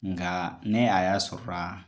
Nka ne a y'a sɔrɔra la